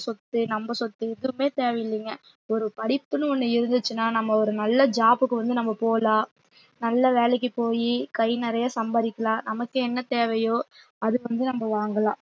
சொத்து நம்ம சொத்து ஏதுமே தேவை இல்லைங்க ஒரு படிப்புன்னு ஒண்ணு இருந்துச்சுன்னா நம்ம ஒரு நல்ல job க்கு வந்து நம்ம போலாம் நல்ல வேலைக்குப் போயி கை நிறைய சம்பாதிக்கலாம் நமக்கு என்ன தேவையோ அத வந்து நம்ம வாங்கலாம்